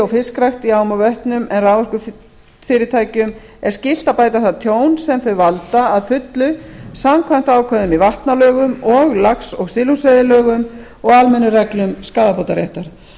og fiskrækt í ám og vötnum en raforkufyrirtækjum er skylt að bæta það tjón sem þau valda að fullu samkvæmt ákvæðum í vatnalögum og lax og silungsveiðilögum og almennum reglum skaðabótaréttar